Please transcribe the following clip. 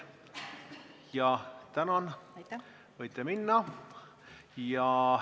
Jah, tänan, võite minna!